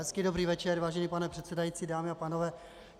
Hezký dobrý večer, vážený pane předsedající, dámy a pánové.